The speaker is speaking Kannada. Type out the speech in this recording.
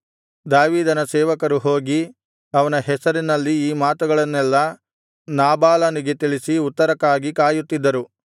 ದಾವೀದನ ಸೇವಕರು ಹೋಗಿ ಅವನ ಹೆಸರಿನಲ್ಲಿ ಈ ಮಾತುಗಳನ್ನೆಲ್ಲಾ ನಾಬಾಲನಿಗೆ ತಿಳಿಸಿ ಉತ್ತರಕ್ಕಾಗಿ ಕಾಯುತ್ತಿದ್ದರು